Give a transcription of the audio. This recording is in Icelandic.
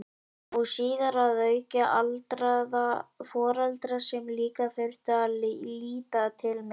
Og síðar að auki aldraða foreldra sem líka þurfti að líta til með.